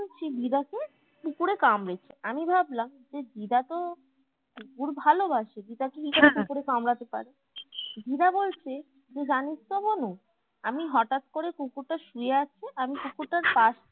সেই দিদাকে কুকুরে কামড়েছে আমি ভাবলাম যে দিদা তো কুকুর ভালোবাসে দিদাকে কুকুরে কামড়াতে পারে দিদা বলছে যে জানিস তো বনু আমি হটাৎ করে কুকুরটা শুয়ে আছে আমি কুকুরটার পাশে